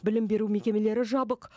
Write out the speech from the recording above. білім беру мекемелері жабық